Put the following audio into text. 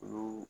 Olu